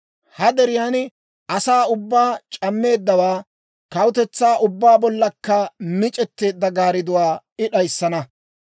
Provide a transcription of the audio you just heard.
Ha deriyaan asaa ubbaa c'ammeeddawaa, kawutetsaa ubbaa bollankka mic'etteedda garidduwaa I d'ayissana.